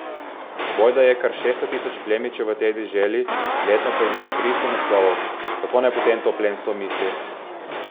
Bojda je kar šeststo tisoč plemičev v tej deželi, letno pa izide tristo naslovov, kako naj potem to plemstvo misli.